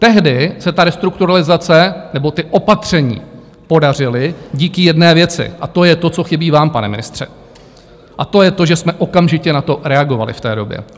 Tehdy se ta restrukturalizace nebo ta opatření podařila díky jedné věci, a to je to, co chybí vám, pane ministře, a to je to, že jsme okamžitě na to reagovali v té době.